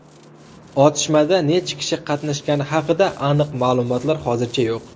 Otishmada necha kishi qatnashgani haqida aniq ma’lumotlar hozircha yo‘q.